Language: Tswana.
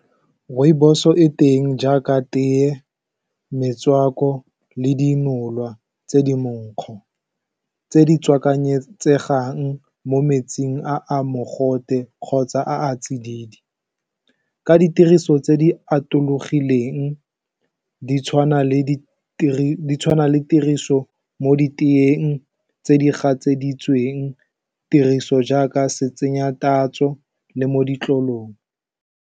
Rooibos-o e teng jaaka teye, metswako, le dinolwa tse di monkgo tse di tswakanyegang mo metsing a a mogote kgotsa a a tsididi ka ditiriso tse di atologileng ditshwana le tiriso mo diteng tse di gatseditsweng tiriso jaaka se tsenya tatso, le mo ditlolong.